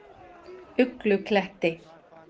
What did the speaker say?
Uglukletti